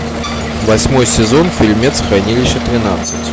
восьмой сезон фильмец хранилище тринадцать